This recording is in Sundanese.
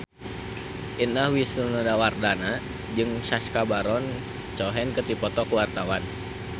Indah Wisnuwardana jeung Sacha Baron Cohen keur dipoto ku wartawan